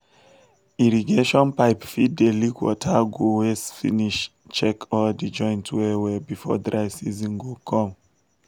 irrigation pipe fit dey leakwater go waste finish check all di joint well well before dry season go come.